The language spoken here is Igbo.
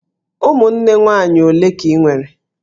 Ụmụnne nwaanyị ole ka I nwere?